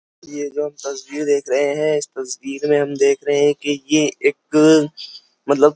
ये जो तस्वीर देख रहे हैं इस तस्वीर में हम देख रहे हैं कि ये एक मतलब --